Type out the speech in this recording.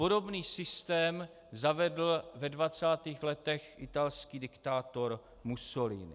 Podobný systém zavedl ve 20. letech italský diktátor Mussolini.